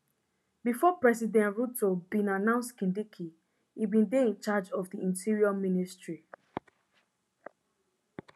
bifor president ruto bin announce kindiki e bin dey in charge of di interior ministry